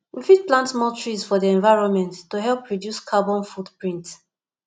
we fit plant more trees for di environment to help reduce carbon foot print